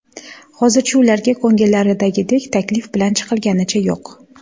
Hozircha ularga ko‘ngillaridagidek taklif bilan chiqilganicha yo‘q.